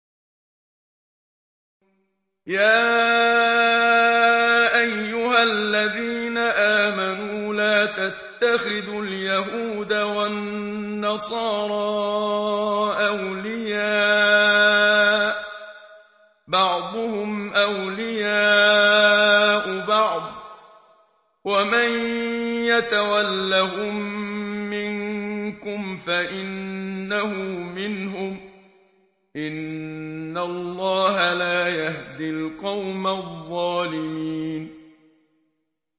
۞ يَا أَيُّهَا الَّذِينَ آمَنُوا لَا تَتَّخِذُوا الْيَهُودَ وَالنَّصَارَىٰ أَوْلِيَاءَ ۘ بَعْضُهُمْ أَوْلِيَاءُ بَعْضٍ ۚ وَمَن يَتَوَلَّهُم مِّنكُمْ فَإِنَّهُ مِنْهُمْ ۗ إِنَّ اللَّهَ لَا يَهْدِي الْقَوْمَ الظَّالِمِينَ